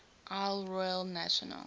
isle royale national